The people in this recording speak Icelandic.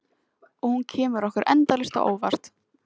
Og hún kemur okkur endalaust á óvart.